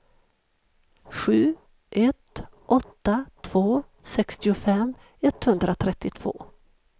sju ett åtta två sextiofem etthundratrettiotvå